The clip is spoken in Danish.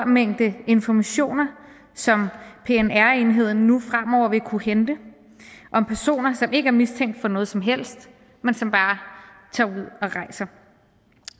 mængde informationer som pnr enheden nu fremover vil kunne hente om personer som ikke er mistænkt for noget som helst men som bare tager ud og rejser